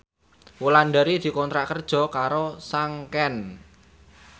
Wulandari dikontrak kerja karo Sanken